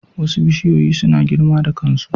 Wasu bishiyoyi suna girma da kansu.